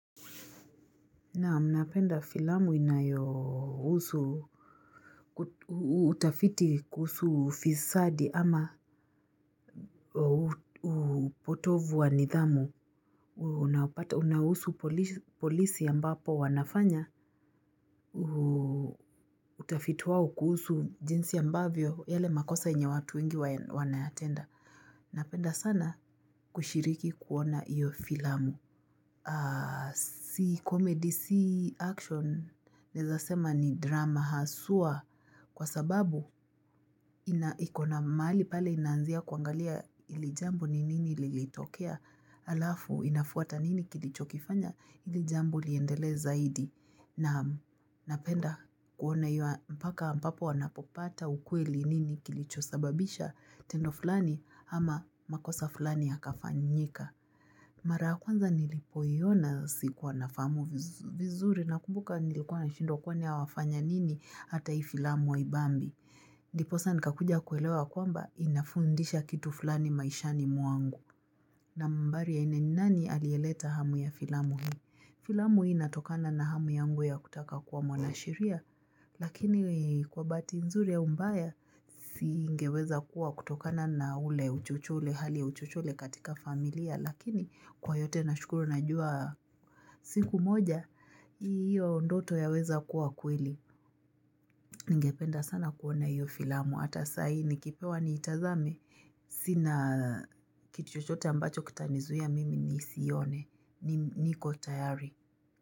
Naam napenda filamu inayohusu utafiti kuhusu ufisadi ama upotovu wa nidhamu Unahusu polisi ambapo wanafanya utafitu wao kuhusu jinsi ambavyo yale makosa yenye watu wengi wanayatenda Napenda sana kushiriki kuona iyo filamu Si comedy, si action, naeza sema ni drama haswa kwa sababu ina iko na mahali pale inaanzia kuangalia ilijambo ni nini lilitokea Alafu inafuata nini kilicho kifanya ilijambo liendelee zaidi Naam napenda kuona hio mpaka ambapo wanapopata ukweli nini kilicho sababisha Tendo fulani ama makosa fulani yakafanyika Mara ya kwanza nilipoiona sikuwa nafahamu vizuri na kumbuka nilikuwa na shindwa kwani awafanya nini hata hii filamu ha ibambi. Ndiposa nikakuja kuelewa kwamba inafundisha kitu fulani maishani mwangu. Nambari ya ine ni nani alieleta hamu ya filamu hii? Filamu hii natokana na hamu yangu ya kutaka kuwa mwanasheria. Lakini kwa bahati nzuri ya umbaya siingeweza kuwa kutokana na ule uchochole hali ya uchochole katika familia. Lakini kwa yote na shukuru najua siku moja hiyo ndoto ya weza kuwa kweli ningependa sana kuona hiyo filamu hata saa hii ni kipewa ni itazame sina kitu chochote ambacho kitanizuia mimi ni sione niko tayari.